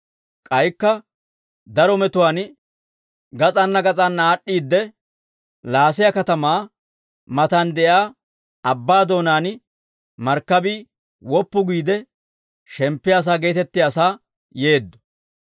K'aykka daro metuwaan gas'anna gas'anna aad'd'iide, Laasiya katamaa matan de'iyaa abbaa doonaan Markkabii Woppu Giide Shemppiyaa sa'aa geetettiyaasaa yeeddo.